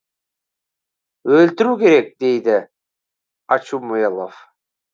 өлтіру керек дейді очумелов